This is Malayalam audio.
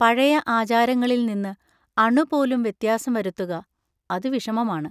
പഴയ ആചാരങ്ങളിൽ നിന്ന് അണുപോലും വ്യത്യാസം വരുത്തുക-അതു വിഷമമാണ്.